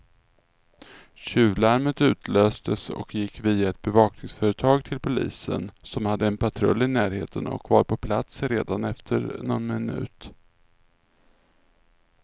Tjuvlarmet utlöstes och gick via ett bevakningsföretag till polisen, som hade en patrull i närheten och var på plats redan efter någon minut.